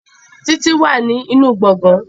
Títí wà ní nínú gbọ̀gán